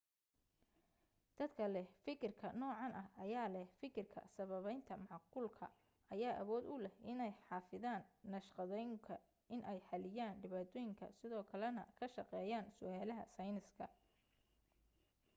dadka leh fikirka noocan ah ayaa leh fikirka sababaynta macquulka ayaa awood u leh inay xafidaan naqshadooyinka inay xaliyaan dhibaatooyinka sidoo kale na ka shaqeeyaan su'aalaha sayniska